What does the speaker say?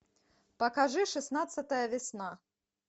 покажи шестнадцатая весна